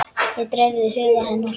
Það dreifði huga hennar.